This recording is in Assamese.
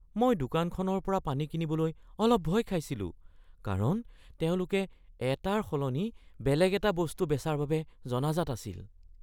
মই দোকানখনৰ পৰা পানী কিনিবলৈ অলপ ভয় খাইছিলোঁ কাৰণ তেওঁলোক এটাৰ সলনি বেলেগ এটা বস্তু বেচাৰ বাবে জনাজাত আছিল।